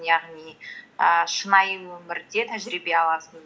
яғни ііі шынайы өмірде тәжірибе аласың